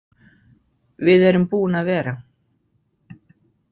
Við erum búin að vera